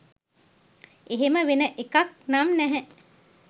එහෙම වෙන එකක් නම් නැහැ.